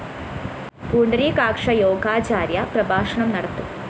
പുണ്ടരീകാക്ഷ യോഗാചാര്യ പ്രഭാഷണം നടത്തും